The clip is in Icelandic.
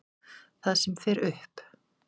Það sem fer upp.